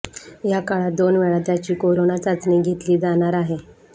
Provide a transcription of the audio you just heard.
या काळात दोन वेळा त्याची करोना चाचणी घेतली जाणार आहे